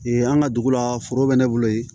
an ka dugu la foro bɛ ne bolo yen